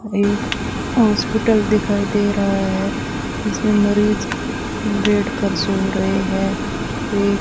एक हॉस्पिटल दिखाई दे रहा है जीसमें मरीज बेड पर सो रहे हैं ये --